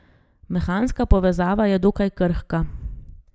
Mehanska povezava je dokaj krhka.